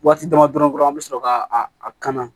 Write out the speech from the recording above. Waati dama dɔrɔn an bɛ sɔrɔ ka a kana